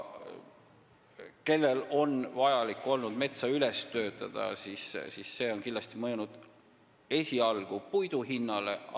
Kindlasti on puidu hinda mõjutanud seegi, kui kellelgi on olnud vaja metsa üles töötada.